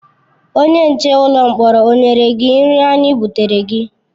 Onye nche ụlọ mkpọrọ o nyere gị nri anyị butere gị?